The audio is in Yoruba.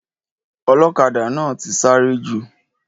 Ọlọ́kadà náà ti sáré jù.